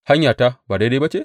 Hanyata ba daidai ba ce?